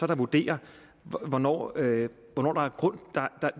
der vurderer hvornår det